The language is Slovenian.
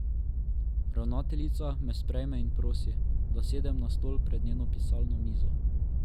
Ravnateljica me sprejme in prosi, da sedem na stol pred njeno pisalno mizo.